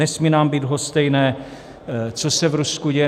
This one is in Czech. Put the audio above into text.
Nesmí nám být lhostejné, co se v Rusku děje.